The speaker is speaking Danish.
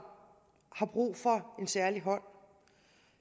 har brug for en særlig hånd